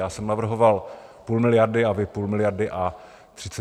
Já jsem navrhoval půl miliardy a vy půl miliardy a 35 milionů.